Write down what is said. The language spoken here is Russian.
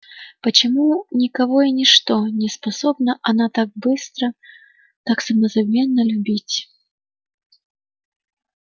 почему никого и ничто не способна она так быстро так самозабвенно любить